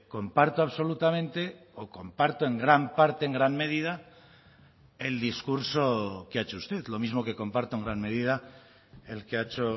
comparto absolutamente o comparto en gran parte en gran medida el discurso que ha hecho usted lo mismo que comparto en gran medida el que ha hecho